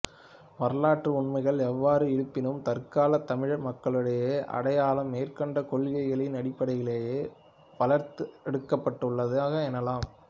வரலாற்று உண்மைகள் எவ்வாறு இருப்பினும் தற்காலத் தமிழ் மக்களுடைய அடையாளம் மேற்கண்ட கொள்கைகளின் அடிப்படையிலேயே வளர்த்தெடுக்கப்பட்டுள்ளது எனலாம்